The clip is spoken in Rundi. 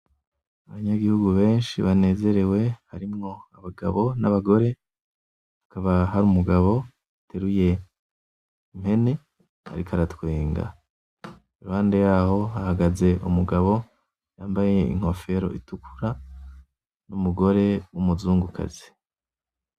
Abanyagihugu benshi banezerewe harimwo abagabo n'abagore, hakaba har'umugabo ateruye impene ariko aratwenga, iruhande yaho hahagaze umugabo yambaye inkoforo itukura; n'umugore w'umuzungukazi.